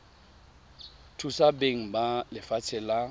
thusa beng ba lefatshe la